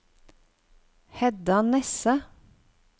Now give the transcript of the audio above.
Hedda Nesse